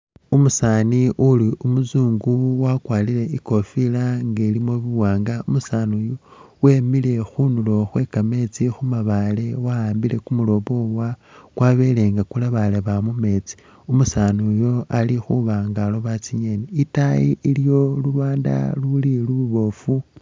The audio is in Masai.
Umusaani uli umuzungu wakwarire ikofila nga ilimo buwaanga , umusaani iyu wemile khunduro khwe kameetsi khu mabaale wa'ambile kumulobo wa ,kwabele nga kulebaleba mu meetsi, umusaani iyu ilikhuba nga aloba tsinyeni ,itayi iliyo lulwanda luli luboofu.